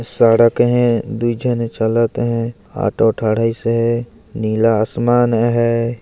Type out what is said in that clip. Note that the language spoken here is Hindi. सड़क हे दो झन चलत हे ऑटो थाडिसे हे नीला आसमान हे ।